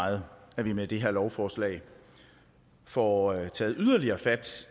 meget at vi med det her lovforslag får taget yderligere fat